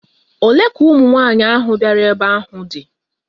Olee ka ụmụnwaanyị ahụ bịara ebe ahụ dị?